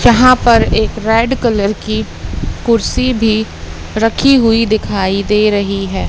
जहां पर एक रेड कलर की कुर्सी भी रखी हुई दिखाई दे रही है।